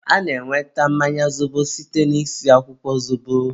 a na-enweta mmanya zobo site na-isi akwụkwọ zobo.